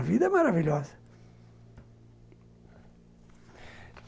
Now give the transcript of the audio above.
A vida é maravilhosa.